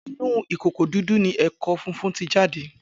Inon ukoko didun owo eko fifun ti jade